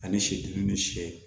Ani sidi ni sɛ